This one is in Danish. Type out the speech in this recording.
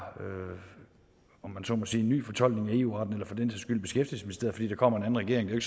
om man så må sige en ny fortolkning af eu retten fordi der kommer en anden regering det